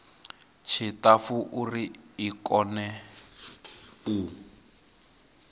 tshiṱafu uri i kone u